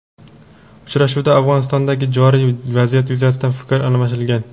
Uchrashuvda Afg‘onistondagi joriy vaziyat yuzasidan fikr almashilgan.